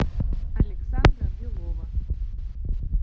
александра белова